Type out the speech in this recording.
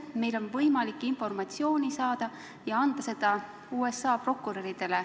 Meil on võimalik informatsiooni saada ja anda seda USA prokuröridele.